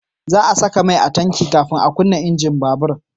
Za a saka mai a tanki kafin a kunna injin babur